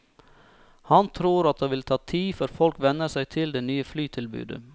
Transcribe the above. Han tror at det vil ta tid før folk venner seg til det nye flytilbudet.